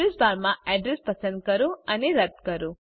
address બારમાં address પસંદ કરો અને રદ કરો